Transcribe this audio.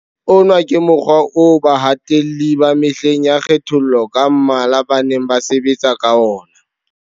Ona ke mokgwa oo bahatelli ba mehleng ya kgethollo ka mmala ba neng ba sebetsa ka ona.